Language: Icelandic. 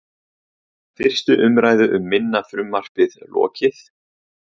Fyrstu umræðu um minna frumvarpið lokið